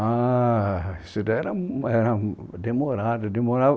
Ah, isso era era demorado, demorava